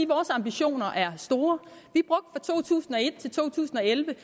vores ambitioner er store fra to tusind og et til to tusind og elleve